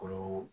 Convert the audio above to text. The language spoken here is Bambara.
Olu